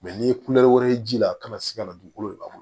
n'i ye wɛrɛ ye ji la a kana se ka na dugukolo labɔ